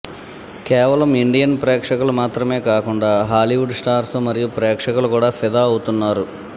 కేవలం ఇండియన్ ప్రేక్షకులు మాత్రమే కాకుండా హాలీవుడ్ స్టార్స్ మరియు ప్రేక్షకులు కూడా ఫిదా అవుతున్నారు